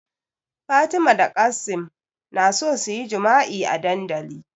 Fatima da Qassim na so suyi jima'i a dandali